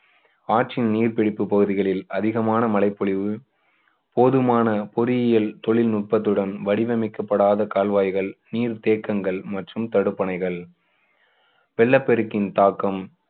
ஆற்றின் நீர்பிடிப்பு பகுதிகளில் அதிகமான மழைப்பொழிவு, போதுமான பொறியியல் தொழில்நுட்பத்துடன் வடிவமைக்கப்படாத கால்வாய்கள், நீர்த்தேக்கங்கள் மற்றும் தடுப்பணைகள் வெள்ளப்பெருக்கின் தாக்கம்